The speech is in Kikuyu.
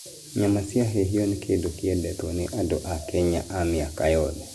Nyama cia hĩhio nĩ kĩndũ kĩendetwo nĩ andũ a Kenya a mĩaka yothe.